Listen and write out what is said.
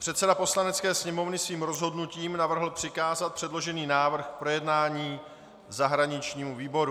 Předseda Poslanecké sněmovny svým rozhodnutím navrhl přikázat předložený návrh k projednání zahraničnímu výboru.